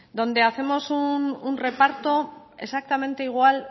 donde hacemos un reparto exactamente igual